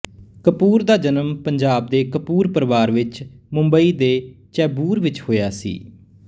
ਕਪੂਰ ਦਾ ਜਨਮ ਪੰਜਾਬ ਦੇ ਕਪੂਰ ਪਰਵਾਰ ਵਿੱਚ ਮੁੰਬਈ ਦੇ ਚੇਂਬੂਰ ਵਿੱਚ ਹੋਇਆ ਸੀ